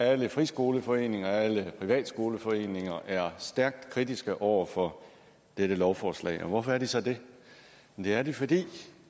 at alle friskoleforeninger og alle privatskoleforeninger er stærkt kritiske over for dette lovforslag og hvorfor er de så det det er de fordi